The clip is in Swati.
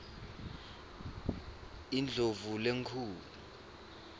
indlovulenkhulu